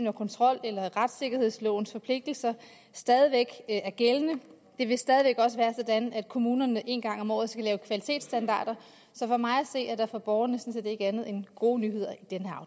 og kontrol eller retssikkerhedslovens forpligtelser stadig væk er gældende det vil stadig væk også være sådan at kommunerne en gang om året skal lave kvalitetsstandarder så for mig at se er der for borgerne sådan set ikke andet end gode nyheder